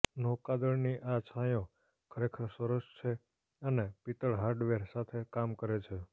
નૌકાદળની આ છાંયો ખરેખર સરસ છે અને પિત્તળ હાર્ડવેર સાથે કામ કરે છે